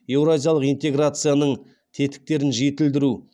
еуразиялық интеграцияның тетіктерін жетілдіру